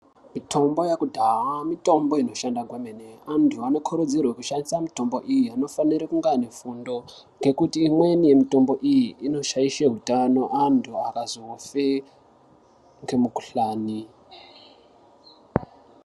Mitombo yakudhaa mitombo inoshanda kwemene. Antu anokurudzirwa kushandisa mitombo iyi anofanire kunga ane fundo ngekuti imweni mitombo iyi inoshaishe hutano antu akazofe ngemukhuhlani.